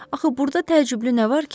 Axı burda təəccüblü nə var ki?